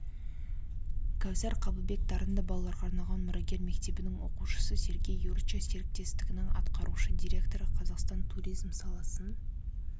кәусар қабылбек дарынды балаларға арналған мұрагер мектебінің оқушысы сергей юрча серіктестіктің атқарушы директоры қазақстан туризм саласын